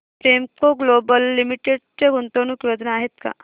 Premco global limited च्या गुंतवणूक योजना आहेत का